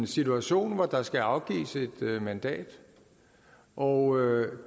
situation hvor der skal afgives et mandat og